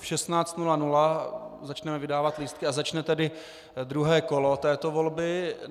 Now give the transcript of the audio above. V 16.00 začneme vydávat lístky a začne tedy druhé kolo této volby.